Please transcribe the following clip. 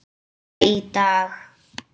Hláka í dag.